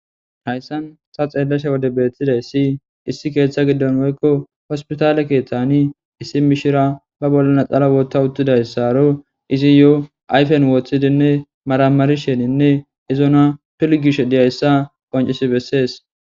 Hayssan tani xeellashe wode beethtiza issi,issi keeththa giddon woykko hospitaale keeththani issi mishira ba bollana natsala wotta uttida issino. Izayob ayfen woththidinne maramarisheninne izona piligishe diya issa qonccissi bessees.